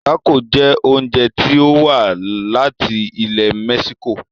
Tácò jẹ oúnjẹ tí o wá láti ilẹ̀ mexico.